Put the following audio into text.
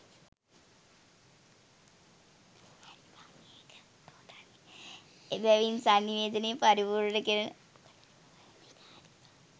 එබැවින් සන්නිවේදනය පරිපූර්ණ කෙරෙන